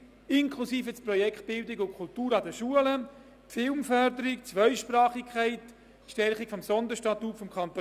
Ich wünsche Ihnen einen guten, erholsamen Abend und freue mich, Sie morgen um 9 Uhr wieder hier zu begrüssen.